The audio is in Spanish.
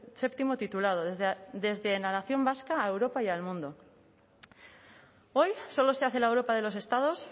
séptimo titulado desde la nación vasca a europa y al mundo hoy solo se hace la europa de los estados